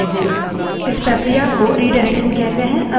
हम इन 3 streams को अन्य फाइलों से जोड़ सकते हैं